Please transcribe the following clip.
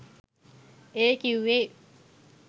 ඒ කිව්වේ?